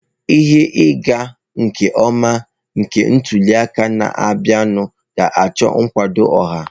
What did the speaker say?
Ihe ịga nke ọma na ntuli aka na-abịanụ ga-achọ nkwado ọha